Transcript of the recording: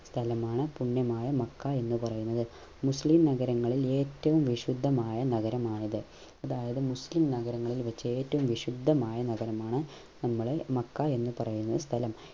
സ്ഥലമാണ് പുണ്യമായ മക്ക എന്ന പറയുന്നത് മുസ്ലിം നഗരങ്ങളിൽ ഏറ്റവും വിശുദ്ധമായ നഗരമാണിത് അതായത് മുസ്ലിം നഗരങ്ങളിൽ വെച്ച ഏറ്റവും വിശുദ്ധമായ നഗരമാണ് നമ്മൾ മക്ക എന്ന പറയുന്ന സ്ഥലം